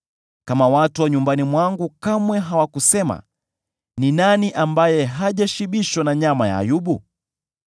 kama watu wa nyumbani mwangu kamwe hawakusema, ‘Ni nani ambaye hajashibishwa na nyama ya Ayubu?’